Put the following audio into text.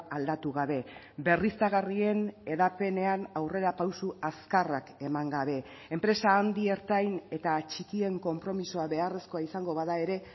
aldatu gabe berriztagarrien hedapenean aurrerapauso azkarrak eman gabe enpresa handi ertain eta txikien konpromisoa beharrezkoa izango bada ere